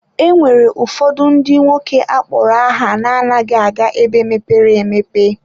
E nwere ụfọdụ ndị nwoke akpọrọ aha na-anaghị aga ebe mepere emepe.